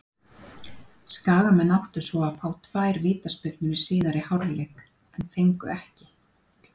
Skagamenn áttu svo að fá tvær vítaspyrnu í síðari hálfleik en fengu ekki.